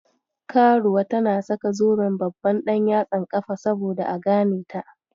Karuwa tana saka zuben babban ɗanyatsan kafa saboda a ganeta.